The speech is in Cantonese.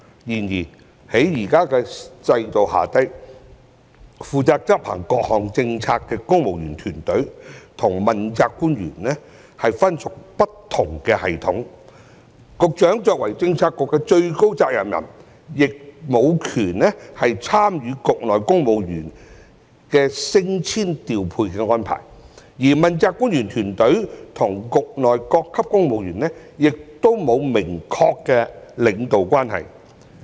然而，在現時的制度下，負責執行各項政策的公務員團隊與問責官員分屬不同系統；局長作為政策局的最高責任人，亦無權參與局內公務員升遷調配的安排，而問責官員團隊與局內各級公務員亦沒有明確的領導關係。